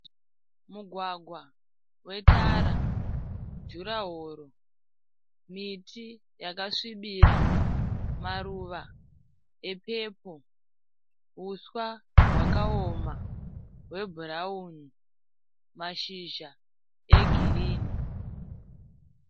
Mugwagwa wetara. Jurahoro. Miti yakasvibira. Maruva epepuro. Huswa hwakaoma hwebhurawuni. Mashizha egirinhi.